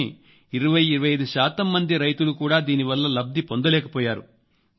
కానీ 2025 శాతం మంది రైతులు కూడా దీనివల్ల లబ్దిపొందలేకపోయారు